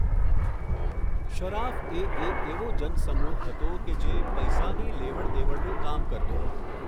શરાફ એ એક એવો જનસમૂહ હતો કે જે પૈસાની લેવડ દેવડનું કામ કરતો.